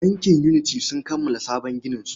Bankin Unity sun kammala sabon gininsu.